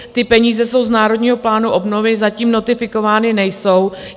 Ty peníze jsou z Národního plánu obnovy, zatím notifikovány nejsou.